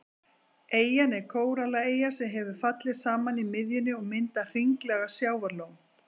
Eyjan er kórallaeyja sem hefur fallið saman í miðjunni og myndað hringlaga sjávarlón.